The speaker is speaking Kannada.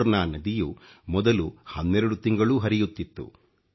ಮೋರ್ನಾ ನದಿಯು ಮೊದಲು 12 ತಿಂಗಳೂ ಹರಿಯುತ್ತಿತ್ತು